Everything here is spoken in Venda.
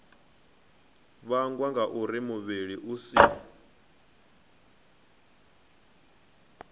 vhangwa ngauri muvhili u si